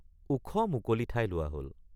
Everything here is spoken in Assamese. ওখ মুকলি ঠাই লোৱা হল।